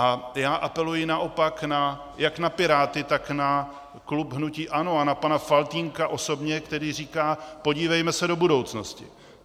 A já apeluji naopak jak na Piráty, tak na klub hnutí ANO a na pana Faltýnka osobně, který říká: podívejme se do budoucnosti.